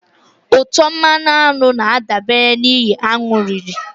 Ụtọ mmanụ aṅụ na-adabere n'ihe aṅụ riri.